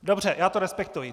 Dobře, já to respektuji.